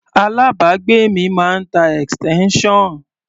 Alábàágbé mi máa ń tá extension.